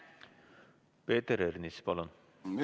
Peeter Ernits, palun!